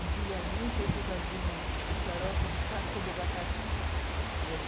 Antigamente, a gente fazia um xarope de casca de abacaxi.